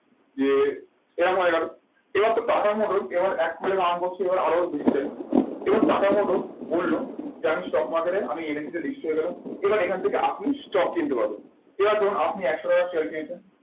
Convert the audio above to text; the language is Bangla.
যে এরম হয়ে গেলো এবার তো টাটা মোটরস আবার এক কোটি earn করছে এবার আরো বেশি চাই এবার টাটা মোটরস বললো যে আমি stock market এ আমি NSE তে registry হয়ে গেলাম। এবার এখান থেকে আপনি stock কিনতে পারবেন। এবার ধরুন আপনি একশো টাকার share কিনেছেন।